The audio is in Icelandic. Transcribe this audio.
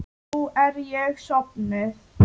Nú er ég sofnuð.